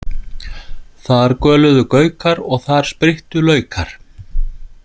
Þar göluðu gaukar og þar spryttu laukar.